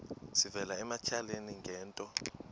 sivela ematyaleni ngento